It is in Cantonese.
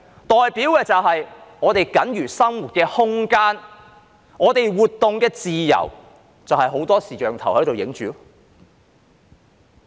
代表我們僅餘的生活空間和活動自由被很多視像鏡頭拍攝着。